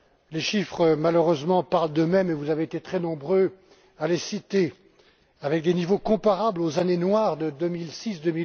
Les chiffres, malheureusement, parlent d'eux mêmes et vous avez été très nombreux à les citer, avec des niveaux comparables aux années noires de 2006 à